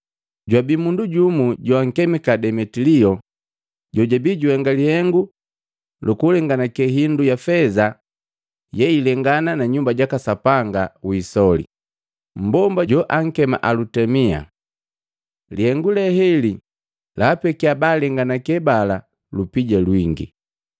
Jwabii mundu jumu joankemika Demetilio jojabii juhenga lihengu lukulenganake hindu ya feza ye ilengana na nyumba jaka sapanga wiisoli, mmbomba joankema Alutemia. Lihengu leheli laapekiya baalenganake bala lupija lwiingi.